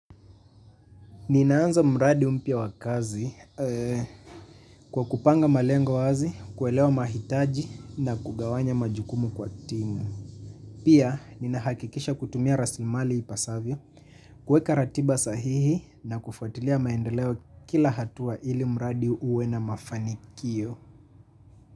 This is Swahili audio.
Ninaanza mradi mpya wa kazi kwa kupanga malengo wazi, kuelewa mahitaji na kugawanya majukumu kwa timu. Pia, ninahakikisha kutumia rasimali ipasavyo, kuweka ratiba sahihi na kufatilia maendeleo kila hatua ili mradi uwe na mafanikio.